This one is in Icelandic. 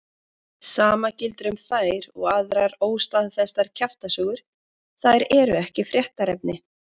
Sama gildir um þær og aðrar óstaðfestar kjaftasögur, þær eru ekki fréttaefni.